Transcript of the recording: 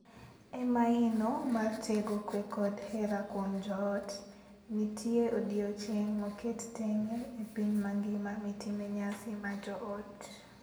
E maino mar tego kwe kod hera kuom joot, nitie odiechieng’ moket tenge e piny mangima mitime nyasi mar joot.